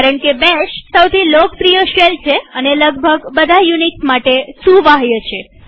કારણકે બેશ સૌથી લોકપ્રિય શેલ છે અને લગભગ બધા યુનિક્સ માટે સુવાહ્ય છે